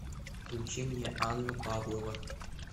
включи мне анна павлова